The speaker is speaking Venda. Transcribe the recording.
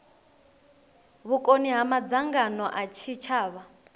vhukoni ha madzangano a tshitshavha